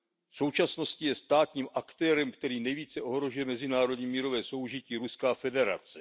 V současnosti je státním aktérem, který nejvíce ohrožuje mezinárodní mírové soužití, Ruská federace.